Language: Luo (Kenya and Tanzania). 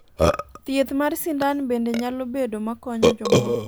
thieth mar sindan bende nyalo bedo makonyo jomoko